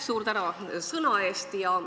Suur tänu sõna eest!